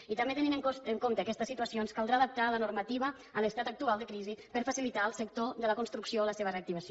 i també tenint en compte aquestes situacions caldrà adaptar la normativa a l’estat actual de crisi per facilitar al sector de la construcció la seva reactivació